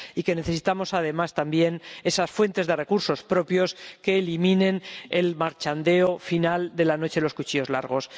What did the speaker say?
Y necesitamos además, también, esas fuentes de recursos propios que eliminen el mercadeo final de la noche de los cuchillos largos.